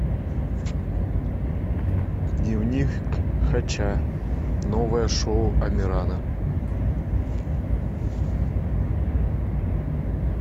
дневник хача новое шоу амирана